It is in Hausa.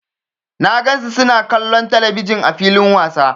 Na gan su suna kallon telebijin ã filin wasa.